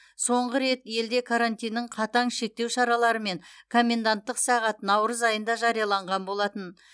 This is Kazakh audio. соңғы рет елде карантиннің қатаң шектеу шаралары мен коменданттық сағат наурыз айында жарияланған болатын